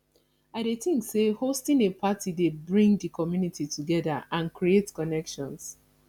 i dey think say hosting a party dey bring di community together and create connections